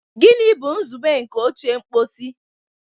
Gịnị bụ nzube nke oche mposi?